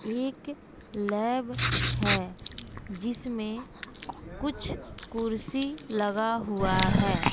एक लैब है जिसमें कुछ कुर्सी लगा हुआ है।